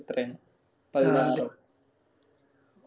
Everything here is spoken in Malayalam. എത്രയാണ്